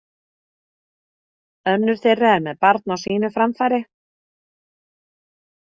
Önnur þeirra er með barn á sínu framfæri.